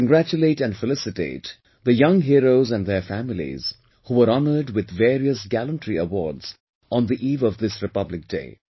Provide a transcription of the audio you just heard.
I congratulate and felicitate the young heroes and their families who were honoured with various gallantry awards on the eve of this Republic Day